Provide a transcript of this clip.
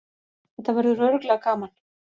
Þetta verður örugglega gaman